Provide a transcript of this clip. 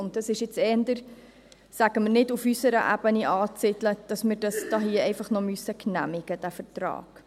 Dies ist wohl eher nicht auf unserer Ebene anzusiedeln, dass wir diesen Vertrag noch genehmigen müssen.